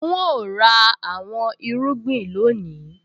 N óò ra àwọn irúgbìn lónìí